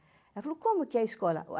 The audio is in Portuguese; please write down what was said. Ela falou, como que é a escola?